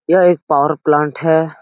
यह एक power plant है।